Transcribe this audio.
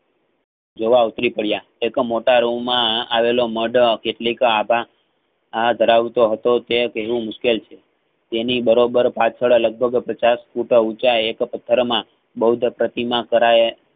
જવા ઉતરી પડ્યા એક મોટા રૂમમાં અવેલોઓ મઢ કેટલીક આધા આ ધરવતો હતો તે કહેવું મુશકેલ છે. તેની બરો બર પાછળ લગભગ પચાસ ફૂટ ઉચ્ચા એક પથ્થર માં બૌદ્ધ પ્રતિમા કરાયે